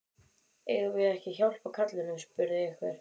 Eigum við ekki að hjálpa karlinum? spurði einhver.